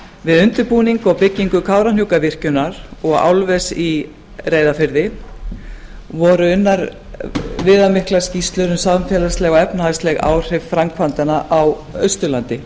við undirbúning og byggingu kárahnjúkavirkjunar og álvers í reyðarfirði voru unnar viðamiklar skýrslur um samfélagsleg og efnahagsleg áhrif framkvæmdanna á austurlandi